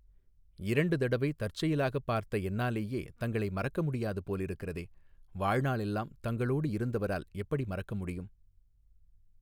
இரண்டு தடவை தற்செயலாகப் பார்த்த என்னாலேயே தங்களை மறக்கமுடியாது போலிருக்கிறதே வாழ்நாளெல்லாம் தங்களோடு இருந்தவரால் எப்படி மறக்கமுடியும்.